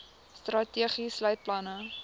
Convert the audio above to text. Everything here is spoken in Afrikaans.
strategie sluit planne